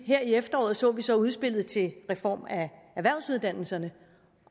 her i efteråret så vi så udspillet til en reform af erhvervsuddannelserne